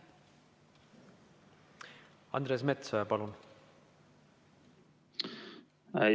Andres Metsoja, palun!